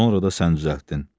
Sonra da sən düzəltdin.